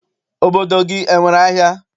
Obodo gị enwere ahịa?